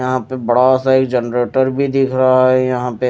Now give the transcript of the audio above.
यहां पे बड़ा सा एक जनरेटर भी दिख रहा है यहां पे--